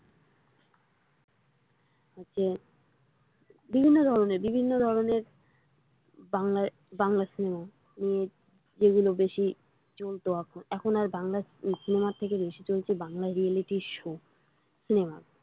হচ্ছে বিভিন্ন ধরনের বিভিন্ন ধরনের বাংলা cinema যেগুলো বেশি চলতো এখন আর বাংলা cinema র থেকে বেশি চলছে বাংলা reality show cinema ।